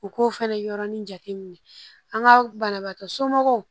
U k'o fana yɔrɔnin jateminɛ an ka banabaatɔ somɔgɔw